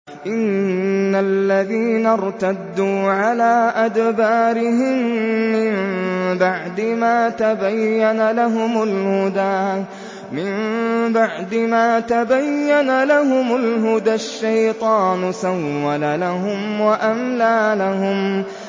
إِنَّ الَّذِينَ ارْتَدُّوا عَلَىٰ أَدْبَارِهِم مِّن بَعْدِ مَا تَبَيَّنَ لَهُمُ الْهُدَى ۙ الشَّيْطَانُ سَوَّلَ لَهُمْ وَأَمْلَىٰ لَهُمْ